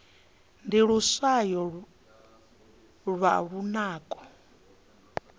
ndi luswayo lwa lunako